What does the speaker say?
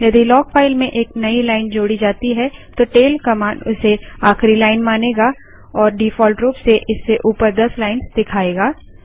यदि log file में एक नई लाइन जोड़ी जाती है तो टैल कमांड उसे आखिरी लाइन मानेगा और डिफॉल्ट रूप से इससे ऊपर दस लाइन्स दिखाएगा